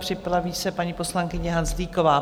Připraví se paní poslankyně Hanzlíková.